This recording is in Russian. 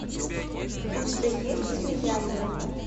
у тебя есть слияние